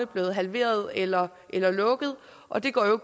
blevet halveret eller eller lukket og det går jo